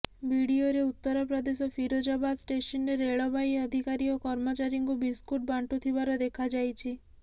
ଭିଡିଓରେ ଉତ୍ତରପ୍ରଦେଶ ଫିରୋଜାବାଦ ଷ୍ଟେସନରେ ରେଳବାଇ ଅଧିକାରୀ ଓ କର୍ମଚାରୀଙ୍କୁ ବିସ୍କୁଟ ବାଣ୍ଟୁଥିବାର ଦେଖାଯାଇଛି